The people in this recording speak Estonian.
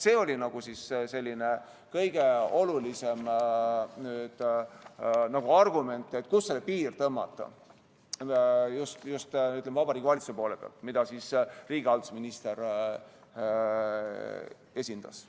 " See oli nagu kõige olulisem argument selle kohta, kuhu see piir tõmmata, just, ütleme, Vabariigi Valitsuse poole pealt, mida riigihalduse minister esindas.